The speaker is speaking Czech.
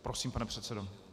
Prosím, pane předsedo.